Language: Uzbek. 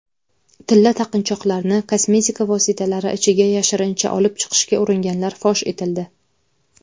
tilla taqinchoqlarni kosmetika vositalari ichiga yashirincha olib chiqishga uringanlar fosh etildi.